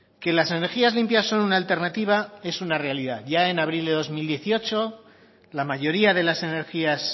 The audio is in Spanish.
que las energías limpias son una alternativa es una realidad ya en abril de dos mil dieciocho la mayoría de las energías